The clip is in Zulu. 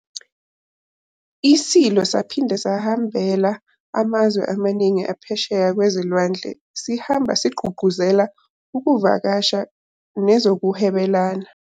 ISilo saphinde sahambela amazwe amaningi aphesheya kwezilwandle sihamba sigqugquzela ezokuvakasha nezokuhwebelana